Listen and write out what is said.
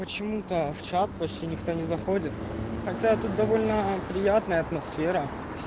почему то в чат почти никто не заходит хотя это довольно приятная атмосфера